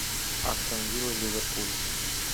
астон вилла ливерпуль